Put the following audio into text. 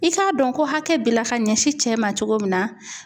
I k'a dɔn ko hakɛ b'i la ka ɲɛsin cɛ ma cogo min na